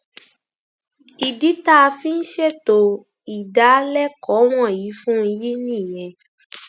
ìdí tá a fi ń ṣètò ìdálẹkọọ wọnyí fún yín nìyẹn